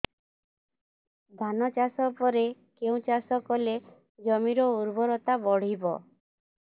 ଧାନ ଚାଷ ପରେ କେଉଁ ଚାଷ କଲେ ଜମିର ଉର୍ବରତା ବଢିବ